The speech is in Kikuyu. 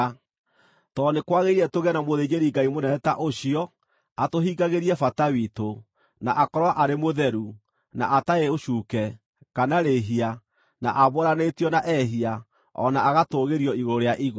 Tondũ nĩ kwagĩrĩire tũgĩe na mũthĩnjĩri-Ngai mũnene ta ũcio, atũhingagĩrie bata witũ, na akorwo arĩ mũtheru, na atarĩ ũcuuke, kana rĩhia, na aamũranĩtio na ehia, o na agatũũgĩrio igũrũ rĩa igũrũ.